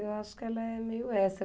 Eu acho que ela é meio essa.